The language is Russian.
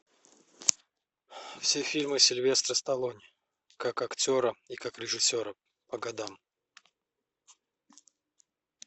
все фильмы сильвестра сталлоне как актера и как режиссера по годам